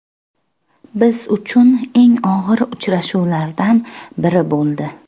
Biz uchun eng og‘ir uchrashuvlardan biri bo‘ldi.